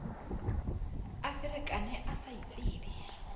a ferekane a sa itsebe